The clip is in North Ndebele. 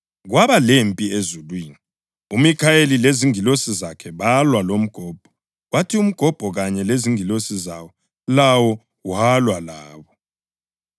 Kwaba lempi ezulwini. UMikhayeli lezingilosi zakhe balwa lomgobho kwathi umgobho kanye lezingilosi zawo lawo walwa labo.